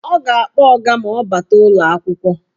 Ọ ga-akpọ ọga ma ọ bata ụlọakwụkwọ.